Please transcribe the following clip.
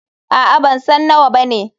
Aa, bansan nawa bane.